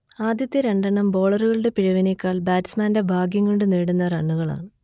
ആദ്യത്തെ രണ്ടെണ്ണം ബോളറൂടെ പിഴവിനേക്കാൾ ബാറ്റ്സ്മാന്റെ ഭാഗ്യംകൊണ്ടു നേടുന്ന റണ്ണുകളാണ്